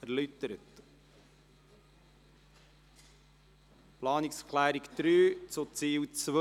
Wir kommen zu Planungserklärung 3 zu Ziel 2.